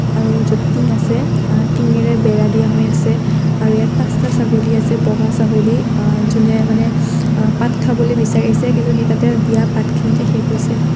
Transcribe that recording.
আৰু য'ত টিং আছে টিঙেৰে বেৰা দিয়া হৈ আছে আৰু ইয়াত পাঁচটা ছাগলী আছে বগা ছাগলী আ যোনে মানে আ পাত খাবলৈ বিচাৰিছে কিন্তু সেই তাতে দিয়া পাতখিনিতে শেষ হৈছে।